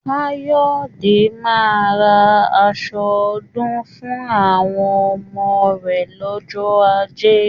Káyọ̀dé máa ra asọ ọdún fún àwọn ọmọ rẹ̀ lọ́jọ́ ajé